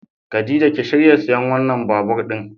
Khadija ki shirya siyan wannan babur din.